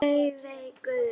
Laufey Guðrún.